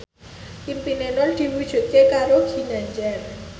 impine Nur diwujudke karo Ginanjar